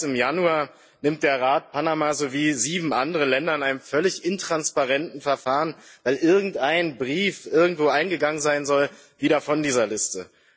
Aber bereits im Januar nimmt der Rat Panama sowie sieben andere Länder in einem völlig intransparenten Verfahren weil irgendein Brief irgendwo eingegangen sein soll wieder von dieser Liste.